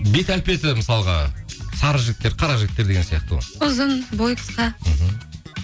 бет әлпеті мысалға сары жігіттер қара жігіттер деген сияқты ғой ұзын бойы қысқа мхм